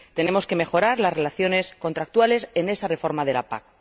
Tenemos que mejorar las relaciones contractuales en esa reforma de la PAC.